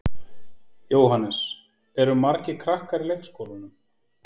Jóhannes: Eru margir krakkar í leikskólanum?